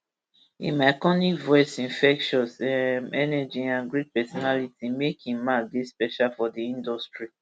im iconic voice infectious um energy and great personality make im mark dey special for di industry